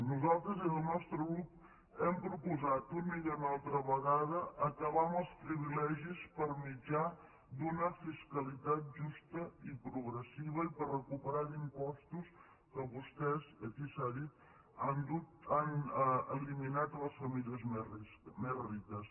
nosaltres des del nostre grup hem proposat una i una altra vegada acabar amb els privilegis per mitjà d’una fiscalitat justa i progressiva i per recuperar impostos que vostès aquí s’ha dit han eliminat a les famílies més riques